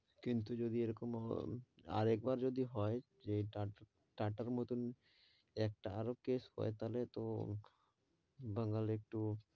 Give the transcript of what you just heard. কিন্তু যদি এরকম, আর একবার যদি হয় যে টাটার মতো একটা আরও case হয় তাহলে তো, বাঙাল এ একটু,